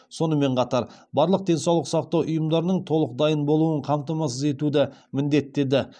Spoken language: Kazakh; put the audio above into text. сонымен қатар барлық денсаулық сақтау ұйымдарының толық дайын болуын қамтамасыз етуді міндеттеді